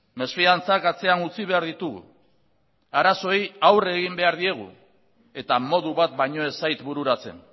mesfidantzak atzean utzi behar ditugu arazoei aurre egin behar diegu eta modu bat baino ez zait bururatzen